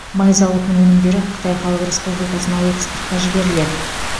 май зауытының өнімдері қытай халық республикасына экспортқа жіберіледі